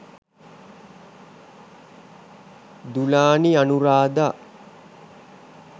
dulani anurada